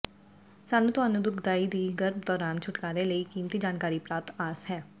ਸਾਨੂੰ ਤੁਹਾਨੂੰ ਦੁਖਦਾਈ ਦੀ ਗਰਭ ਦੌਰਾਨ ਛੁਟਕਾਰੇ ਲਈ ਕੀਮਤੀ ਜਾਣਕਾਰੀ ਪ੍ਰਾਪਤ ਆਸ ਹੈ